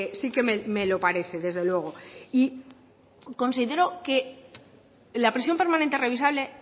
sí que me lo parece desde luego y considero que la prisión permanente revisable